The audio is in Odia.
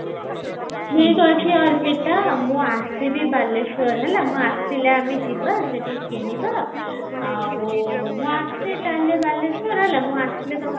ଠିକ ଅଛି ଅର୍ପିତା ମୁଁ ଆସିବି ବାଲେଶ୍ଵର ହେଲା ମୁଁ ଆସିଲେ ଆମେ ଯିବା ସେଠି କିଣିବା ଆଉ ମୁଁ ଆସେ ତାହେଲ ବାଲେଶ୍ଵର ହେଲା ମୁଁ ଆସିଲେ